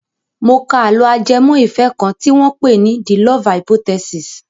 Mo ka àlọ́ ajẹmọ́ ìfẹ́ kan tí wọ́n pè ní "the love hypothesis".